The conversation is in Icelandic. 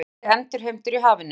Flugriti endurheimtur í hafinu